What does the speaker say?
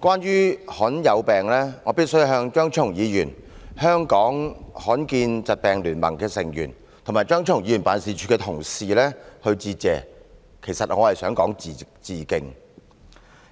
關於罕見疾病，我必須向張超雄議員、香港罕見疾病聯盟的成員及張超雄議員辦事處的同事致謝，其實是致敬才對。